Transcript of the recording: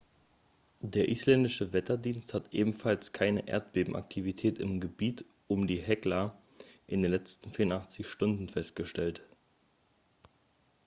der isländische wetterdienst hat ebenfalls keine erdbebenaktivität im gebiet um die hekla in den letzten 48 stunden festgestellt